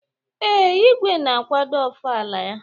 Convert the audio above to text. Ee, igwe na-akwado ofala ya.